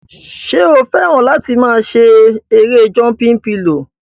Ṣé o fẹ́ràn láti máa ṣe erée jọmpin pilò?